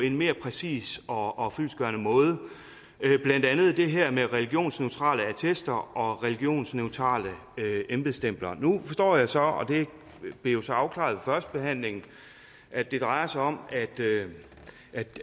en mere præcis og fyldestgørende måde blandt andet om det her med religionsneutrale attester og religionsneutrale embedsstempler nu forstår jeg så og det blev jo så afklaret ved førstebehandlingen at det drejer sig om at